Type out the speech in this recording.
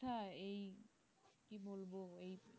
হ্যাঁ এই কি বলবো এই